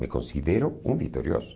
Me considero um vitorioso.